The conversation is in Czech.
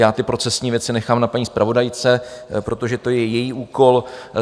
Já ty procesní věci nechám na paní zpravodajce, protože to je její úkol.